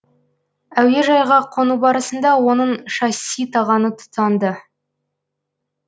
әуежайға қону барысында оның шасси тағаны тұтанды